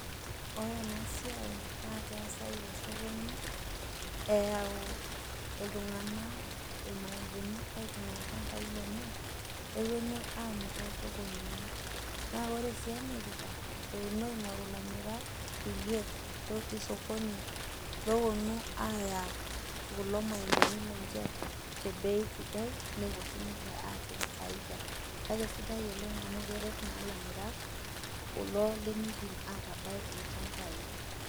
Ore ena siai naake eesai te esokoni eyau iltung'anak irmaembeni aitung'ua ilchambai lenye neponu aamir too sokonini, naa kore sii emirita eponu aing'oru ilamirak kuliek lotii sokoni looponu aaya kulo maembeni lenje te bei sidai, nepuo sinije aatum faida. Kake sidai oleng' amu keret naa ilamirak kuldo lemiidim atabai ilchambai.